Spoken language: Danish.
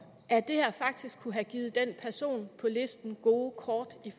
at det her faktisk kunne have givet den person på listen gode kort